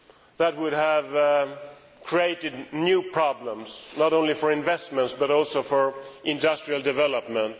That would have created new problems, not only for investments, but also for industrial development.